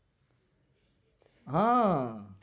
હા અમ